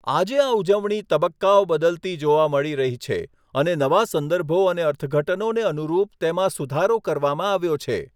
આજે આ ઉજવણી તબક્કાઓ બદલતી જોવા મળી રહી છે અને નવા સંદર્ભો અને અર્થઘટનોને અનુરૂપ તેમાં સુધારો કરવામાં આવ્યો છે.